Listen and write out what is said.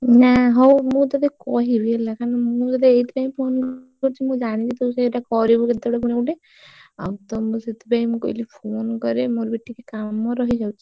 ନା ହଉ ମୁଁ ତତେ କହିବି ହେଲା କାହିଁକି ନା ମୁଁ ତତେ ଏଇଥି ପାଇଁ ଫୋନ କରିଛି ମୁଁ ଜାଣିଛି ତୁ ସେଇଟା କରିବୁ କେତେ ବେଳେ ପୁଣି ଗୋଟେ ଆଉ ତ ମୁଁ ସେଥିପାଇଁ କହିଲି ଫୋନ କରେ ମୋର ବି ଟିକେ କାମ ରହିଯାଉଛି।